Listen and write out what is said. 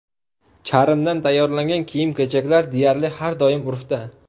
Charmdan tayyorlangan kiyim-kechaklar deyarli har doim urfda.